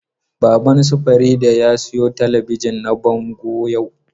Baban su Farida ya sayo talabijin na bango yau.